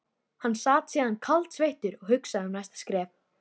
Hann sat síðan kaldsveittur og hugsaði um næsta skref.